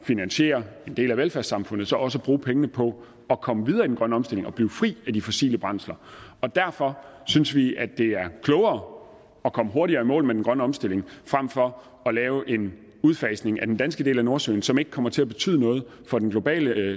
finansiere en del af velfærdssamfundet også at bruge pengene på at komme videre i den grønne omstilling og blive fri af de fossile brændsler derfor synes vi at det er klogere at komme hurtigere i mål med den grønne omstilling fremfor at lave en udfasning af den danske del af nordsøen som ikke kommer til at betyde noget for den globale